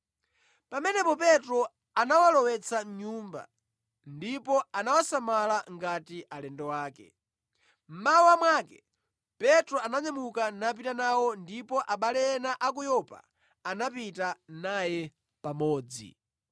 Pamenepo Petro anawalowetsa mʼnyumba ndipo anawasamala ngati alendo ake. Mmawa mwake Petro ananyamuka napita nawo ndipo abale ena a ku Yopa anapita naye pamodzi.